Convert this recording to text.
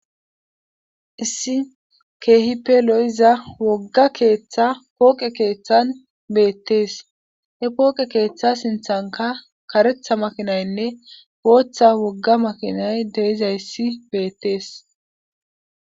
Issi keehippe lo7iza wogga keeththa kooqe keeththan beettees he kooqe keeththa sinthanka karetha makinaynne gooththa wogga makinay deiza yssi beettees.